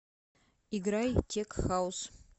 играй тек хаус